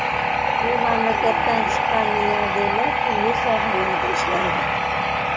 Bu mamlakatdan chiqqan milliarderlar turli sohalarda ishlaydi.